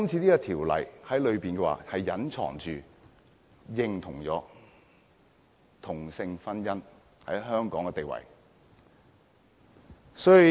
這項《條例草案》隱蔽地認同同性婚姻在香港的地位。